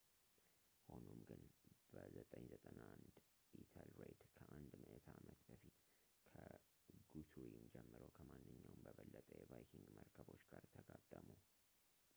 ሆኖም ግን በ 991 ኢተልሬድ ከአንድ ምዕተ ዓመት በፊት ከጉቱሪም ጀምሮ ከማንኛውም በበለጠ የቫይኪንግ መርከቦች ጋር ተጋጠሙ